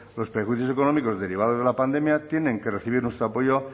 los perjuicios económicos derivados de la pandemia tienen que recibir nuestro apoyo